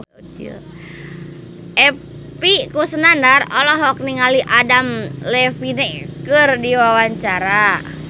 Epy Kusnandar olohok ningali Adam Levine keur diwawancara